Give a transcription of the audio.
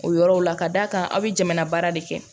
O yɔrɔ la ka d'a kan a' bɛ jamana baara de kɛ